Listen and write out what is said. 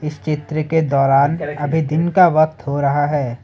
इस चित्र के दौरान अभी दिन का वक्त हो रहा है।